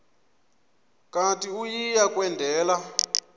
kanti uia kwendela